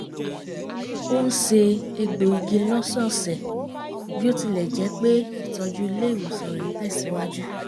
ó ń se egbò igi lọ́sọ́ọ̀sẹ̀ bí ó tilẹ̀ jẹ́ pé ìtọ́jú ilé ìwòsàn rẹ̀ ń tẹ̀sìwájú